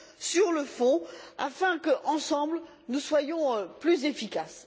sur le fond, afin que, ensemble, nous soyons plus efficaces.